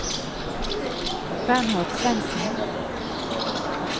Bernhard Svensen